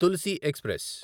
Tulsi express